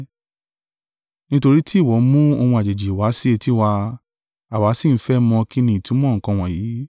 Nítorí tí ìwọ mú ohun àjèjì wá sí etí wa, àwa sì ń fẹ́ mọ̀ kín ni ìtumọ̀ nǹkan wọ̀nyí.”